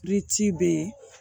Di be yen